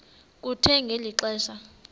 kuthe ngeli xesha